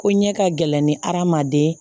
Ko ɲɛ ka gɛlɛn ni adamaden ye